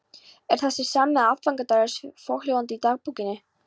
En þessi sami aðfangadagur er svohljóðandi í dagbókinni